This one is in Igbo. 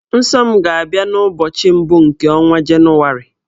Nsọ m ga-abịa n'ụbọchị mbụ nke ọnwa Jenụwarị.